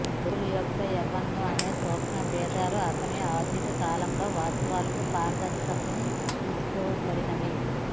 గోగోల్ యొక్క వ్యంగ్య అనేక సూక్ష్మబేధాలు అతనికి ఆధునిక కాలంలో వాస్తవాలకు పారదర్శక తీసుకోబడినవి